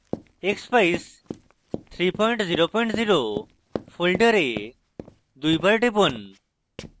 expeyes300 folder দুইবার টিপুন